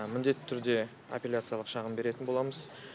міндетті түрде аппеляциялық шағым беретін боламыз